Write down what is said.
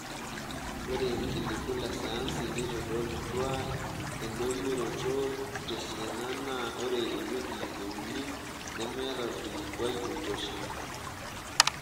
Ore ilikiliku le sayansi neitodolutua endoyioroto tesiana naa ore ewueji e uni nemeeta olkilikua oitosha.